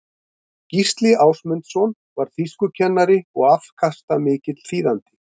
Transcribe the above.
gísli ásmundsson var þýskukennari og afkastamikill þýðandi